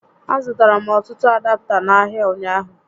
A zụtara m ọtụtụ adapta n'ahịa ụnyaahụ